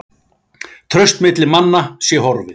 Traust milli manna sé horfið